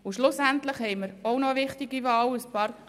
Schlussendlich haben wir noch eine wichtige Wahl.